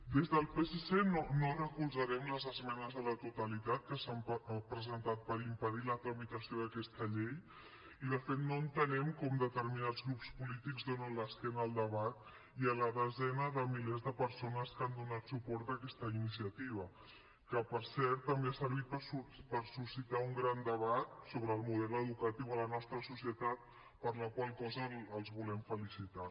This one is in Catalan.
des del psc no recolzarem les esmenes a la totalitat que s’han presentat per impedir la tramitació d’aquesta llei i de fet no entenem com determinats grups polítics donen l’esquena al debat i a les desenes de milers de persones que han donat suport a aquesta iniciativa que per cert també ha servit per suscitar un gran debat sobre el model educatiu a la nostra societat per la qual cosa els volem felicitar